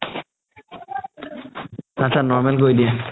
আতচা normal কৰি দিয়ে